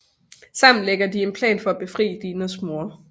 Sammen lægger de en plan for at befri Dinas mor